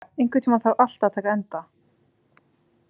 Hinrika, einhvern tímann þarf allt að taka enda.